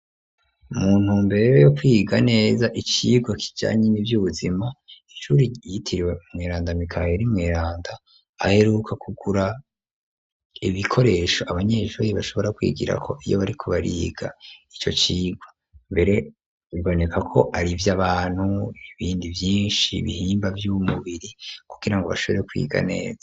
Mu ntumbere yo kwiga neza icigwa kijanye n'ivy'ubuzima, inshuri ryitiriwe umweranda mikaheri mweranda aheruka kugura ibikoresho abanyesuri bashobora kwigirako iyo bariko bariga ico cigwa, mbere biboneka ko ari ivyo abantu ibindi vyinshi bihimba vy'umubiri kugira ngo bashobore kwiga neza.